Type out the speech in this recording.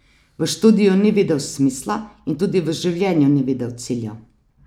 V študiju ni videl smisla in tudi v življenju ni videl cilja.